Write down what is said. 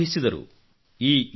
ಓದಲಾರಂಭಿಸಿದರು